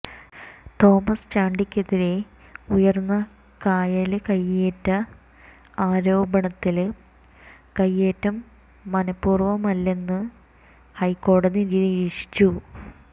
Thomas ചാണ്ടിക്കെതിരെ ഉയര്ന്ന കായല് കയ്യേറ്റ ആരോപണത്തില് കയ്യേറ്റം മനപ്പൂര്വമല്ലെന്ന് ഹൈക്കോടതി നിരീക്ഷിച്ചു